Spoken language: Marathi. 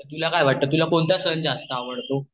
तुला काय वाट ते तुला कोणता सण जास्त आवडतो